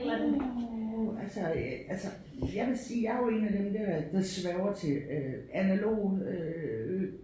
Uh altså altså jeg vil sige jeg jo en af dem dér der sværger til øh analoge øh